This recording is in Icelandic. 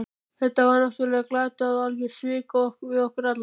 Þetta var náttúrlega glatað og algjör svik við okkur alla.